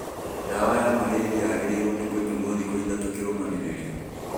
Ndawa ya marĩria yagĩrĩirwo nĩ kũnyuo thikũ ithatũ kĩrũmanĩrĩrio